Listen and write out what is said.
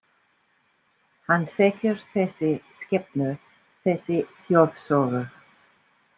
Hann þekkir þessa skepnu, þessa þjóðsögu.